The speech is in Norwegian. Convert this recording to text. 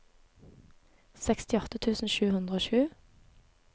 sekstiåtte tusen sju hundre og sju